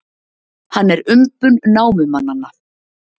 Hann er umbun námumannanna.